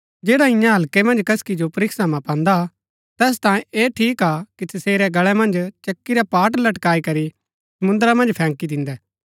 जैडा इन्या हल्कै मन्ज कसकी जो परीक्षा मां पान्दा तैस तांयें ता ऐह ठीक हा कि तसेरै गल्ळै मन्ज चक्की रा पाट लटकाई करी समुन्द्रा मन्ज फैंकी दिन्दै